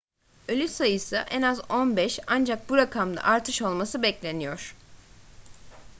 ölü sayısı en az 15 ancak bu rakamda artış olması bekleniyor